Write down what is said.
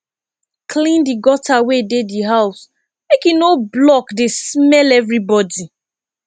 clean di gutter wey dey di house make e no block dey smell everybody